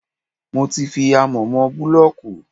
Mo ti fi amọ̀ mọ búlọ̀kù.